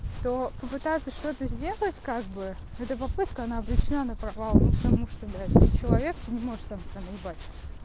то попытаться что-то сделать как бы это попытка она обречена на провал ну потому что блять ты человек ты не может сам себя наебать